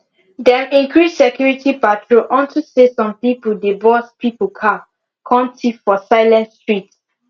dem increase security patrol unto say some people dey burst people car kon thief for silent street